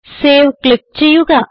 save click ചെയ്യുക